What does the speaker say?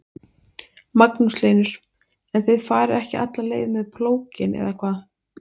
Magnús Hlynur: En þið farið ekki alla leið með plóginn eða hvað?